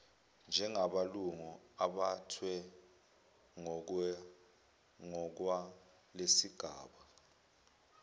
njengamalungu abuthwe ngokwalesigaba